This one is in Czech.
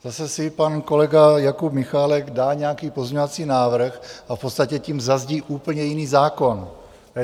Zase si pan kolega Jakub Michálek dá nějaký pozměňovací návrh a v podstatě tím zazdí úplně jiný zákon.